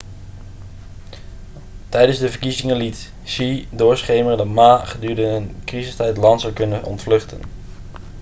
tijdens de verkiezingen liet hsieh doorschemeren dat ma gedurende een crisistijd het land zou kunnen ontvluchten